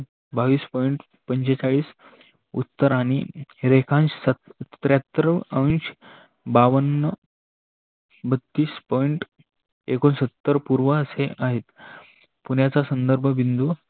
बावीस Point पंचेचाळीस उतर आणि रेखांश त्र्यहत्तर अंश बाव्वन बत्तीस Point एकोन्सतर पुरावा असे आहे. पुण्याचा संदर्भ बिन्दू